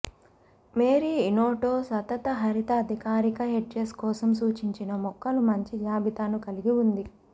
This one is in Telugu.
మేరీ ఇనోటో సతతహరిత అధికారిక హెడ్జెస్ కోసం సూచించిన మొక్కలు మంచి జాబితాను కలిగి ఉంది